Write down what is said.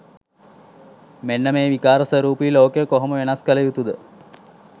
මෙන්න මේ විකාර ස්වරූපී ලෝකය කොහොම වෙනස් කළ යුතු ද?